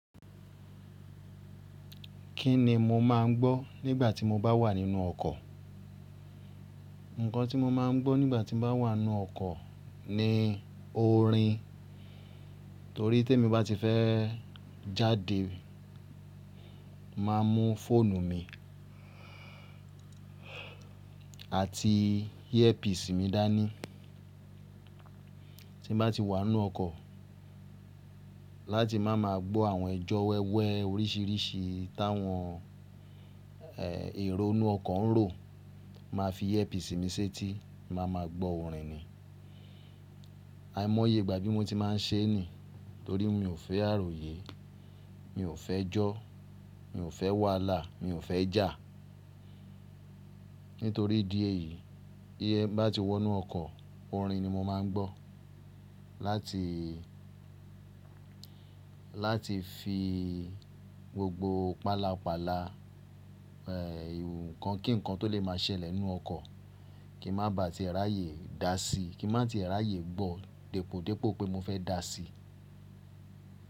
Kí ni mo má a ń gbọ́ nígbà tí mo bá wà nínú ọkọ̀? Nǹkan tí mo máa ń gbọ́ nígbà tí n bá wà nínú ọkọ̀ ni orin. Torí te mo bá ti fẹ́ jáde, má a mú fóònù mi àti earpiece mi dání. Tí n bá ti wà inu ọkọ̀, láti máa ma gbọ́ àwọn ẹjọ́ wẹ́wẹ́ oríṣìíríṣìí táwọn, eeh, èrò inú ọkọ̀ ń rò, mà á fi earpiece mi sẹ́tí, mà a máa gbọ́ orin ni. Aìmọye ìgbà bí mo ti máa ń ṣe ní. Torí mi ò fẹ́ àròyé, mi ò fẹ́ jọ́, mi ò fẹ́ wàláà, mi ò fẹ́ jà. Nítorí idí èyí, bí ẹ bá ti wọ inú ọkọ̀, orin ni mo má a ń gbọ́. Láti, láti fi gbogbo pàlàpálà, eeh, ìwù nkankan kí nkankan tó lè máa ṣẹlẹ̀ nínú ọkọ̀ kí n má bá ti rà yè dá síi, kí n má tí rà yè gbọ́ depòdepò pé mo fẹ́ dá sí.